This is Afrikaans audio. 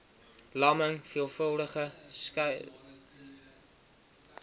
lamming veelvuldige sklerose